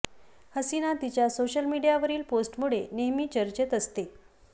हसीना तिच्या सोशल मीडियावरील पोस्टमुळे नेहमी चर्चेत असते